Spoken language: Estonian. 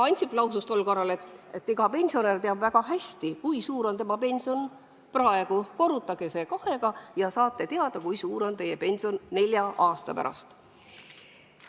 Ansip lausus tol korral, et iga pensionär teab väga hästi, kui suur on tema pension praegu, aga korrutage see kahega ja saate teada, kui suur on teie pension nelja aasta pärast.